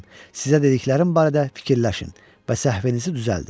Sizə dediklərim barədə fikirləşin və səhvinizi düzəldin.